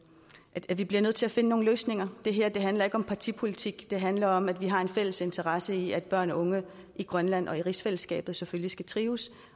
at vi bliver nødt til at finde nogle løsninger det her handler ikke om partipolitik det handler om at vi har en fælles interesse i at børn og unge i grønland og rigsfællesskabet selvfølgelig skal trives